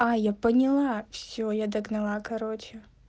а я поняла всё я догнала короче